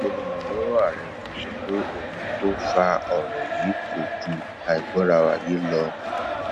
olùrànlọwọ ààrẹ yìí sọ pé ohun tó fa ọrọ yìí kò ju àìgbọraẹniyé lọ